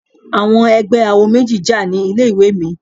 Àwọn ẹgbẹ́ awo méjì jà ní ilé ìwé mi.